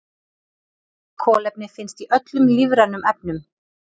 Kolefni finnst í öllum lífrænum efnum.